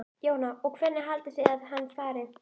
Jóhanna: Og hvernig haldið þið að hann fari?